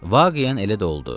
Vaqiən elə də oldu.